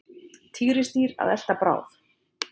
Tígrisdýr að elta bráð.